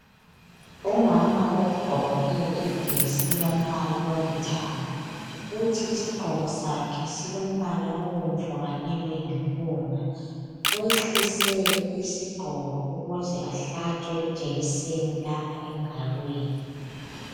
Umama ogqoke ijesi elombala olithanga kuthi isigqoko sakhe silombalaobomvu kanye loyimpunga wehlise isigqoko ukuze ahlatshwe engalweni